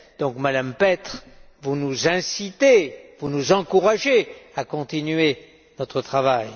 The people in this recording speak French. donc, Madame Petre, vous nous incitez, vous nous encouragez à continuer notre travail.